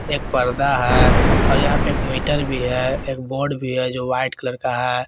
एक पर्दा है और यहां पे एक मीटर भी है एक बोर्ड भी है जो वाइट कलर का है।